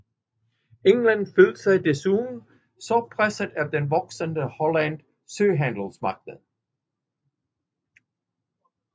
England følte sig desuden også presset af den voksende hollandske søhandelsmagt